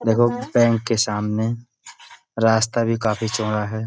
देखो बैंक के सामने रास्ता भी काफी चौड़ा है।